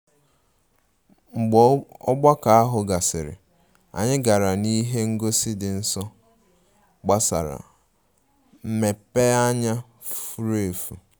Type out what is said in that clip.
Mgbe ogbako ahụ gasịrị, anyị gara n'ihe ngosi dị nso gbasara mmepeanya furu efu